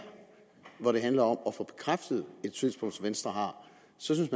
hvor det handler om at få bekræftet et synspunkt som venstre har